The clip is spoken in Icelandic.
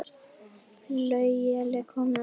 Flauel er komið aftur.